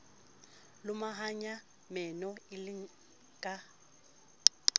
lomahanya meno e le ka